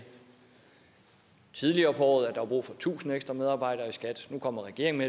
tidligere på året at der var brug for tusind ekstra medarbejdere i skat nu kommer regeringen